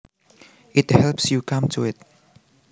it helps you come to it